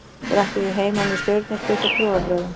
Þær ættu því heima með stjörnuspeki og trúarbrögðum.